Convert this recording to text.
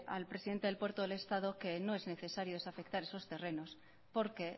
al presidente del puerto del estado que no es necesario desafectar esos terrenos porque